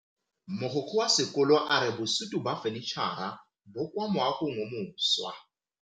Mogokgo wa sekolo a re bosutô ba fanitšhara bo kwa moagong o mošwa.